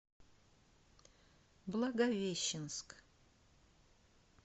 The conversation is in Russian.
благовещенск